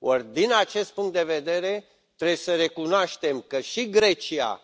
Or, din acest punct de vedere, trebuie să recunoaștem că și Grecia